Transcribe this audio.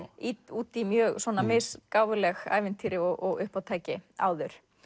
út í mjög svona mis gáfuleg ævintýri og uppátæki áður